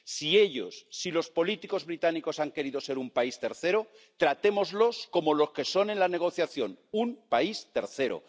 Si ellos, si los políticos británicos han querido ser un país tercero, tratémoslos como lo que son en la negociación, un país tercero.